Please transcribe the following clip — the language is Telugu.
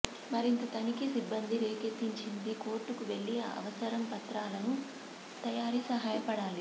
మరింత తనిఖీ సిబ్బంది రేకెత్తించింది కోర్టుకు వెళ్ళి అవసరం పత్రాలను తయారీ సహాయపడాలి